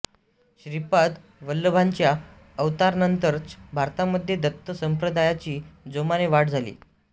श्रीपाद वल्लभांच्या अवतारानंतरच भारतामध्ये दत्त संप्रदायाची जोमाने वाढ झाली